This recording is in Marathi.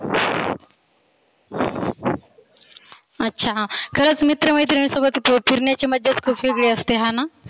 अच्छा खरच मित्र मैत्रिनीसोबत फिरण्याची मजाच खुप वेगळी असते हाना?